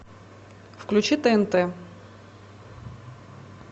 включи тнт